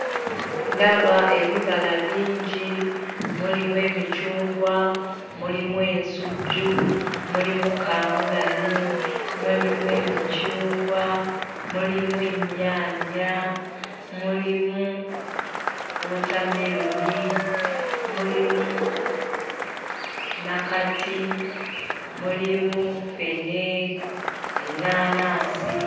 Ndaba ebibala bingi, mulimu emicungwa, mulimu ensujju, mulimu kaamulali, mulimu emicungwa, mulimu ennyaanya, mulimu wootameroni, mulimu nnakati, mulimu ffene, ennaanansi